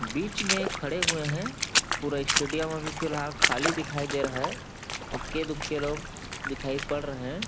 बीच में खड़े हुए हैं पूरा स्टेडियम अभी फिलहाल खाली दिखाई दे रहा है इक्के दुक्के लोग दिखाई पड़ रहे हैं।